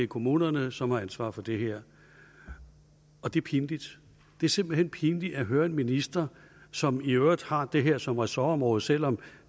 kommunerne som har ansvaret for det her og det er pinligt det er simpelt hen pinligt at høre ministeren som i øvrigt har det her som ressortområde selv om